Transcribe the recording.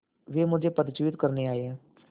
वे मुझे पदच्युत करने आये हैं